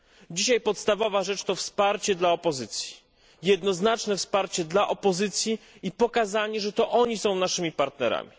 Dzisiaj podstawowa rzecz to wsparcie dla opozycji, jednoznaczne wsparcie dla opozycji i pokazanie, że to oni są naszymi partnerami.